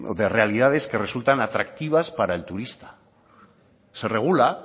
de realidad que resultan atractivas para el turista se regula